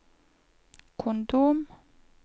kondom